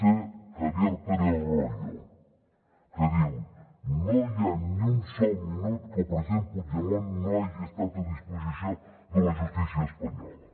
es javier pérez royo que diu no hi ha ni un sol minut que el president puigdemont no hagi estat a disposició de la justícia espanyola